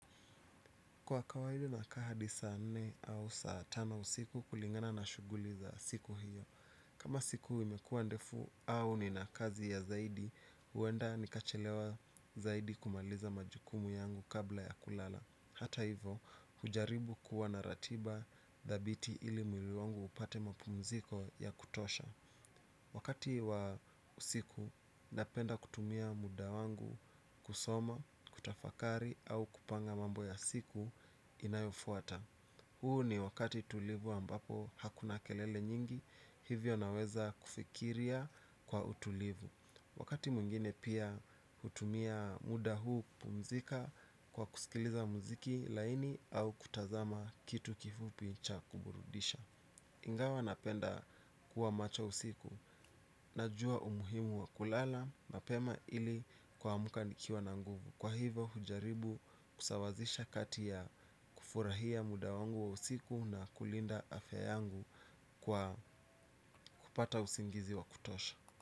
Kwa kawaidi nakaa hadi saa nne au saa tano usiku kulingana na shughuli za siku hiyo. Kama siku imekuwa ndefu au nina kazi ya zaidi huenda nikachelewa zaidi kumaliza majukumu yangu kabla ya kulala. Hata hivo hujaribu kuwa na ratiba thabiti ili mwili wangu upate mapumziko ya kutosha. Wakati wa usiku napenda kutumia muda wangu kusoma, kutafakari au kupanga mambo ya siku Inayofuata. Huu ni wakati tulivu ambapo hakuna kelele nyingi. Hivyo naweza kufikiria kwa utulivu. Wakati mwingine pia hutumia muda huu kupumzika kwa kusikiliza muziki laini au kutazama kitu kifupi cha kuburudisha ingawa napenda kuwa macho usiku najua umuhimu wa kulala mapema ili kuamka nikiwa na nguvu. Kwa hivo hujaribu kusawazisha kati ya kufurahia muda wangu wa usiku na kulinda afya yangu kwa kupata usingizi wa kutosha.